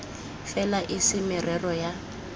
fela e se merero ya